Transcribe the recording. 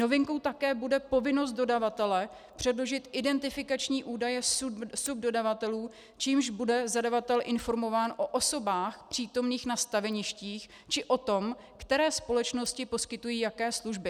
Novinkou také bude povinnost dodavatele předložit identifikační údaje subdodavatelů, čímž bude zadavatel informován o osobách přítomných na staveništích či o tom, které společnosti poskytují jaké služby.